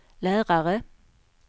lärare